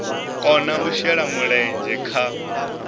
kona u shela mulenzhe kha